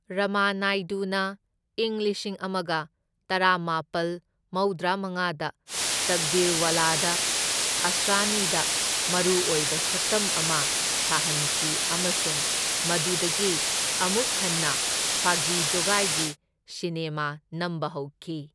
ꯔꯃꯥꯅꯥꯏꯗꯨꯅ ꯏꯪ ꯂꯤꯁꯤꯡ ꯑꯃꯒ ꯇꯔꯥꯃꯥꯄꯜ ꯃꯧꯗ꯭ꯔꯥꯃꯉꯥꯗ ꯇꯛꯗꯤꯔꯋꯥꯂꯥꯗ ꯑꯁ꯭ꯔꯥꯅꯤꯗ ꯃꯔꯨꯑꯣꯏꯕ ꯁꯛꯇꯝ ꯑꯃ ꯁꯥꯍꯟꯈꯤ ꯑꯃꯁꯨꯡ ꯃꯗꯨꯗꯒꯤ ꯑꯃꯨꯛ ꯍꯟꯅ ꯐꯥꯒꯤ ꯖꯣꯒꯥꯢꯒꯤ ꯁꯤꯅꯦꯃꯥ ꯅꯝꯕ ꯍꯧꯈꯤ꯫